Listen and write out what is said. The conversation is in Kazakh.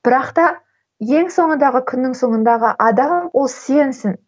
бірақта ең соңындағы күннің соңындағы адам ол сенсің